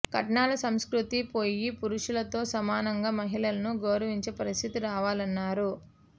కట్నాల సంస్కృతి పోయి పురుషులతో సమానంగా మహిళలను గౌరవించే పరిస్థితి రావాలన్నారు